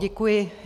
Děkuji.